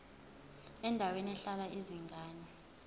endaweni ehlala izingane